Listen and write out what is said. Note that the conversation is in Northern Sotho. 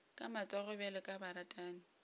ka matsogo bjalo ka baratani